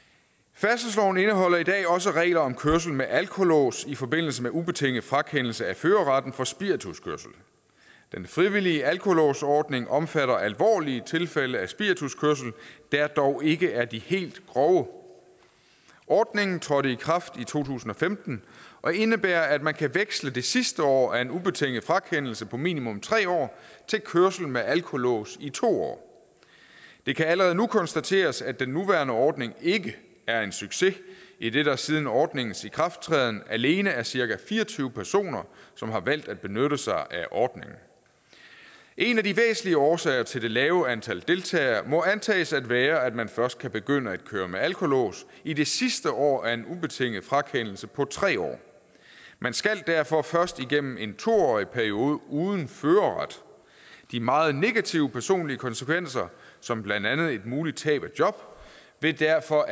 færdselsloven indeholder i dag også regler om kørsel med alkolås i forbindelse med ubetinget frakendelse af førerretten for spirituskørsel den frivillige alkolåsordning omfatter alvorlige tilfælde af spirituskørsel der dog ikke er de helt grove ordningen trådte i kraft i to tusind og femten og indebærer at man kan veksle det sidste år af en ubetinget frakendelse på minimum tre år til kørsel med alkolås i to år det kan allerede nu konstateres at den nuværende ordning ikke er en succes idet der siden ordningens ikrafttræden alene er cirka fire og tyve personer som har valgt at benytte sig af ordningen en af de væsentlige årsager til det lave antal deltagere må antages at være at man først kan begynde at køre med alkolås i det sidste år af en ubetinget frakendelse på tre år man skal derfor først igennem en to årig periode uden førerret de meget negative personlige konsekvenser som blandt andet et muligt tab af job vil derfor